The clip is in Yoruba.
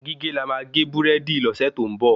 Gígé la má gé burẹdi lọ́sẹ̀ tó ń bọ